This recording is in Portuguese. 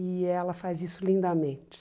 E ela faz isso lindamente.